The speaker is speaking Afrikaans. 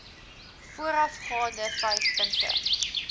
voorafgaande vyf punte